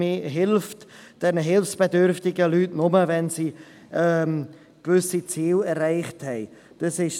Man hilft den hilfsbedürftigen Leuten nur, wenn sie gewisse Ziele erreicht haben.